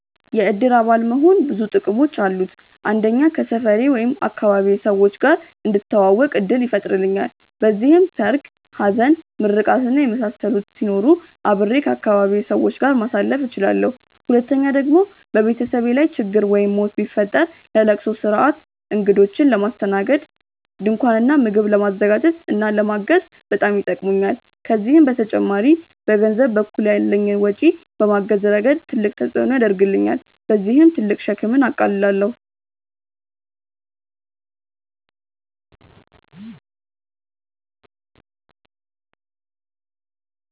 የእድር አባል መሆን ብዙ ጥቅሞች አሉት። አንደኛ ከሰፈሬ/ አካባቢዬ ሰዎች ጋር እንድተዋወቅ እድል ይፈጥርልኛል። በዚህም ሰርግ፣ ሀዘን፣ ምርቃት እና የመሳሰሉት ሲኖሩ አብሬ ከአካባቢዬ ሰዎች ጋር ማሳለፍ እችላለሁ። ሁለተኛ ደግሞ በቤተሰቤ ላይ ችግር ወይም ሞት ቢፈጠር ለለቅሶ ስርአት፣ እግዶችን ለማስተናገድ፣ ድንኳን እና ምግብ ለማዘጋጀት እና ለማገዝ በጣም ይጠቅሙኛል። ከዚህም በተጨማሪ በገንዘብ በኩል ያለኝን ወጪ በማገዝ ረገድ ትልቅ አስተዋፅኦ ያደርግልኛል። በዚህም ትልቅ ሸክምን አቃልላለሁኝ።